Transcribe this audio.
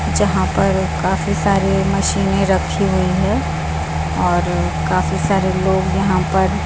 जहां पर काफी सारे मशीनें रखी हुई है और काफी सारे लोग यहां पर--